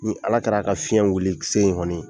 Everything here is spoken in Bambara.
Ni Ala kɛra, a ka fiɲɛ wili sen gɔni